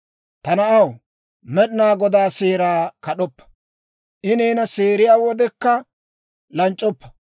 Ta na'aw, Med'inaa Godaa seeraa kad'oppa; I neena seeriyaa wodekka lanc'c'oppa.